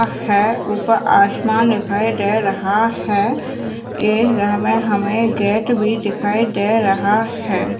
है ऊपर आसमान दिखाई दे रहा है ये घर में हमें गेट भी दिखाई दे रहा है।